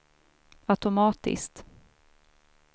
automatisk